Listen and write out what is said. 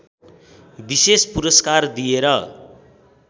विशेष पुरस्कार दिएर